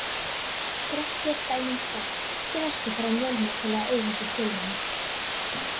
Grettir er dæmi um kött sem ekki þarf að mjálma til að eigandinn skilji hann.